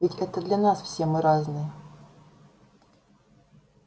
ведь это для нас все мы разные